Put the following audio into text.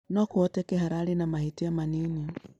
No kũhoteke hararĩ na mahĩtia manini